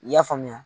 I y'a faamuya